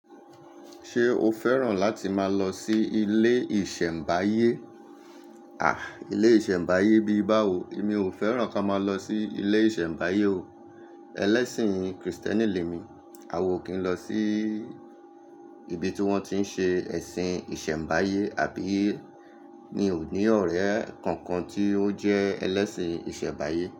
Ṣé o fẹ́ràn láti máa lọ sí ilé ìṣẹ̀mbáyé? À, ilé ìṣẹ̀mbáyé bíi báwo, mi ò fẹ́ràn ká máa lọ sí ilé ìṣẹ̀mbáyé o. Ẹlẹ́sìn Kristẹni lè mi, a ò kí ń lọ sí ibi tí wọ́n ti ń ṣe ẹ̀sìn ìṣẹ̀mbáyé, àbí mi o ní ọ̀rẹ́ kankan tí ó jẹ́ ẹlẹ́sìn ìṣẹ̀mbáyé.